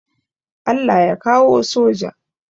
Allah ya kawo soja